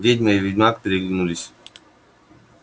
ведьма и ведьмак переглянулись